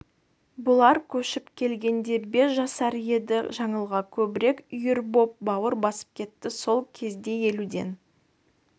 бұлар көшіп келгенде бес жасар еді жаңылға көбірек үйір боп бауыр басып кетті сол кезде елуден